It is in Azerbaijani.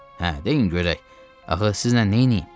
Hə, deyin görək, axı sizlə neyləyim?